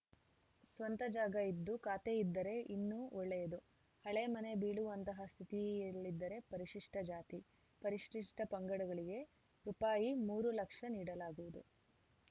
ಸ್ವಂತ ಜಾಗ ಇದ್ದು ಖಾತೆಯಿದ್ದರೆ ಇನ್ನು ಒಳ್ಳೆಯದು ಹಳೆ ಮನೆ ಬೀಳುವಂತಹ ಸ್ಥಿತಿಯಲ್ಲಿದ್ದರೆ ಪರಿಶಿಷ್ಟಜಾತಿ ಪರಿಶಿಷ್ಟಪಂಗಡಗಳಿಗೆ ರುಪಾಯಿ ಮೂರು ಲಕ್ಷ ನೀಡಲಾಗುವುದು